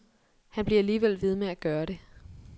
Han bliver alligevel ved med at gøre det.